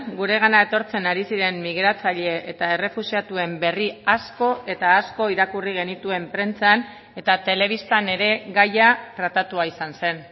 guregana etortzen ari ziren migratzaile eta errefuxiatuen berri asko eta asko irakurri genituen prentsan eta telebistan ere gaia tratatua izan zen